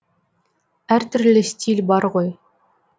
әр түрлі стиль бар ғой